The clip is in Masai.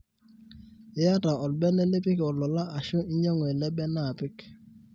iyata olbene lipik ololaa ashu inyangu ele bene apik